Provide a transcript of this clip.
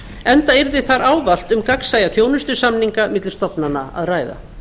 enda yrði þar ávallt um gagnsæja þjónustusamninga milli stofnana að ræða